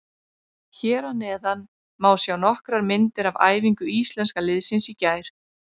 Hér að neðan má sjá nokkrar myndir af æfingu Íslenska liðsins í gær.